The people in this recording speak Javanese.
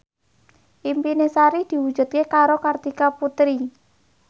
impine Sari diwujudke karo Kartika Putri